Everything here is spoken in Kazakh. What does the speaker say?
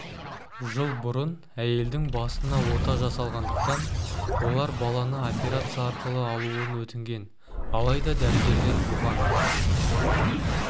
жыл бұрын әйелдің басына ота жасалғандықтан олар баланы операция арқылы алуын өтінген алайда дәрігерлер бұған